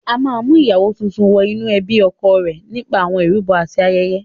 A máa ń mú ìyàwó tuntun wọ inú ẹbí ọkọ rẹ̀ nípa àwọn ìrúbọ àti ayẹyẹ.